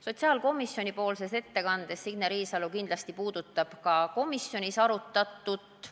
Sotsiaalkomisjoni ettekandes puudutab Signe Riisalo kindlasti ka komisjonis arutatut.